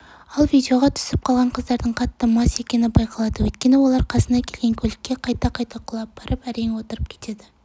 ал видеоға түсіп қалған қыздардың қатты мас екені байқалады өйткені олар қасына келген көлікке қайта-қайта құлап барып әрең отырып кетеді